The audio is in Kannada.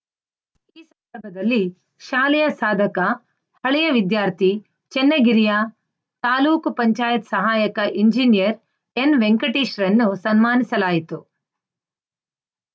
ಈ ಸಂದರ್ಭದಲ್ಲಿ ಶಾಲೆಯ ಸಾಧಕ ಹಳೆಯ ವಿದ್ಯಾರ್ಥಿ ಚೆನ್ನಗಿರಿಯ ತಾಲೂಕ್ ಪಂಚಾಯತ್ ಸಹಾಯಕ ಎಂಜಿನಿಯರ್‌ ಎನ್‌ವೆಂಕಟೇಶ್‌ರನ್ನು ಸನ್ಮಾನಿಸಲಾಯಿತು